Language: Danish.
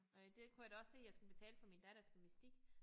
Øh det kunne jeg da også se jeg skulle betale for min datters gymnastik